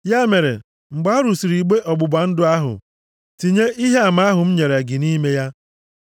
Ya mere, mgbe a rụsịrị igbe ọgbụgba ndụ ahụ, tinye Ihe Ama ahụ m nyere gị nʼime ya.